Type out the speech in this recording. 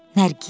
Nərgiz?